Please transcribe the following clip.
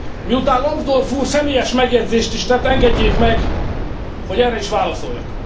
Miután Lambsdorff úr személyes megjegyzést is tett, engedjék meg, hogy erre is válaszoljak.